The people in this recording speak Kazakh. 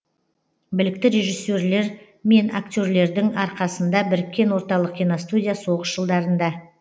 білікті режиссерлер мен актерлердің арқасында біріккен орталық киностудия соғыс жылдарында